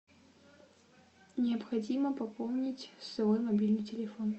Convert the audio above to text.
необходимо пополнить свой мобильный телефон